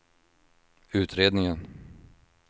utredningen